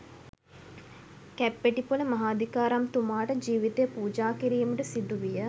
කැප්පෙටිපොල මහාධිකාරම්තුමාට ජීවිතය පූජා කිරීමට සිදුවිය.